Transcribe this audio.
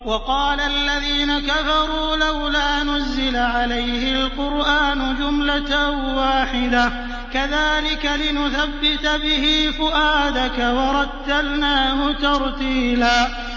وَقَالَ الَّذِينَ كَفَرُوا لَوْلَا نُزِّلَ عَلَيْهِ الْقُرْآنُ جُمْلَةً وَاحِدَةً ۚ كَذَٰلِكَ لِنُثَبِّتَ بِهِ فُؤَادَكَ ۖ وَرَتَّلْنَاهُ تَرْتِيلًا